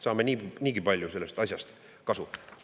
Saame niigi palju sellest asjast kasu!